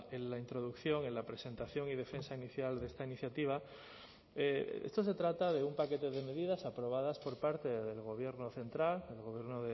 en la introducción en la presentación y defensa inicial de esta iniciativa esto se trata de un paquete de medidas aprobadas por parte del gobierno central el gobierno